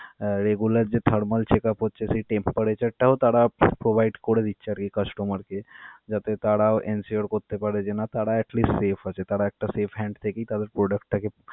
আহ regular যে thermal checkup হচ্ছে সেই temperature টাও তারা provide করে দিচ্ছে আর কি customer কে যাতে তারাও ensure করতে পারে যে না তারা atleast safe আছে. তারা একটা safe hand থেকেই তাদের product টাকে.